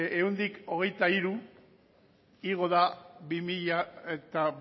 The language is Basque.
ehuneko hogeita hiru igo da bi mila